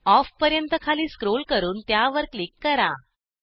of पर्यंत खाली scroll करून त्यावर क्लिक करा